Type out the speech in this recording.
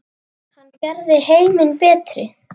Hann gerði heiminn betri.